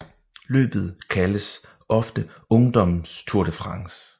Løbet kaldes ofte Ungdommens Tour de France